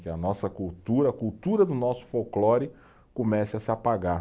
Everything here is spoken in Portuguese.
Que a nossa cultura, a cultura do nosso folclore comece a se apagar.